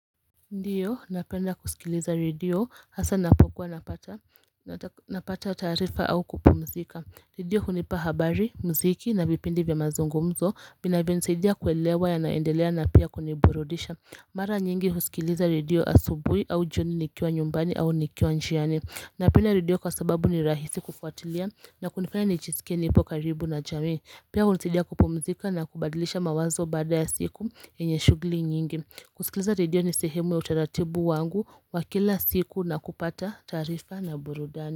Ndiyo napenda kusikiliza redio hasa napokuwa napata napata taarifa au kupumzika Redio hunipa habari, mziki na vipindi vya mazungumzo vinavyo nisaidia kuelewa yanayoendelea na pia kuniburudisha Mara nyingi husikiliza redio asubuhi au jioni nikiwa nyumbani au nikiwa njiani Napenda redio kwa sababu ni rahisi kufuatilia na kunifanya nijisike nipo karibu na jamii Pia hunisaidia kupumzika na kubadilisha mawazo bada ya siku yenye shughuli nyingi kusikiliza redio ni sehemu ya utaratibu wangu wa kila siku na kupata taarifa na burudani.